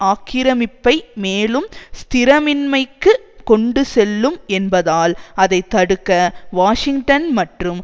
ஆக்கிரமிப்பை மேலும் ஸ்திரமின்மைக்கு கொண்டு செல்லும் என்பதால் அதை தடுக்க வாஷிங்டன் மற்றும்